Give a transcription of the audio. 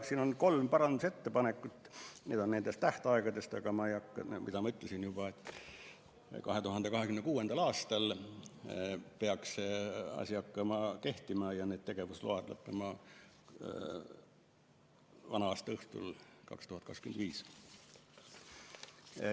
Siin on kolm parandusettepanekut, need on tähtaegade kohta, aga ma juba ütlesin, et 2026. aastal peaks see asi hakkama kehtima ja need tegevusload lõppevad vana-aastaõhtul 2025.